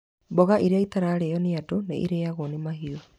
Mboga ĩrĩa ĩtararĩo nĩ nĩ andũ nĩ ĩrĩagwo nĩ mahiũ.